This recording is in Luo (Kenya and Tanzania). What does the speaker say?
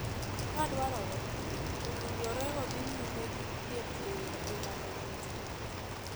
Ka dwarore, owinjore odhi nyime gi thieth e ngimane duto.